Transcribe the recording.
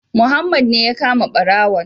Muhammad ne ya kama ɓarawon